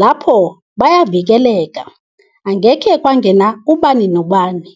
lapho bayavikeleka angekhe kwangena ubani nobani.